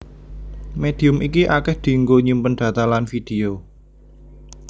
Médium iki akèh dienggo nyimpen data lan vidéo